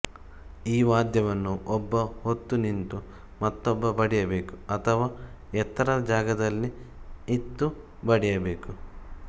ಈ ವಾದ್ಯವನ್ನು ಒಬ್ಬ ಹೊತ್ತು ನಿಂತು ಮತ್ತೊಬ್ಬ ಬಡಿಯಬೇಕು ಅಥವಾ ಎತ್ತರದ ಜಾಗದಲ್ಲಿ ಇತ್ತು ಬಡಿಯಬೇಕು